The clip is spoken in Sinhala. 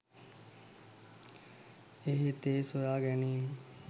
එහෙත් ඒ සොයා ගැනීම්